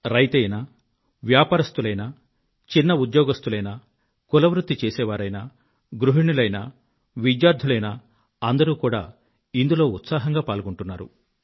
రైతైనా వ్యాపారస్థులైనా చిన్న ఉద్యోగస్తులైనా కుల వృత్తి చేసేవారైనా గృహిణులైనా విద్యార్థులైనా అందరూ కూడా ఇందులో ఉత్సాహంగా పాల్గొంటున్నారు